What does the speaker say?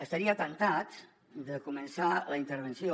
estaria temptat de començar la intervenció